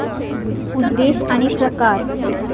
उद्देश आणि प्रकार